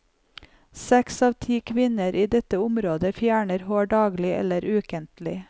Seks av ti kvinner i dette området fjerner hår daglig eller ukentlig.